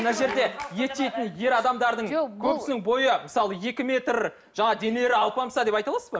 мына жерде ет жейтін ер адамдардың көбісінің бойы мысалы екі метр жаңағы денелері алпамса деп айта аласыз ба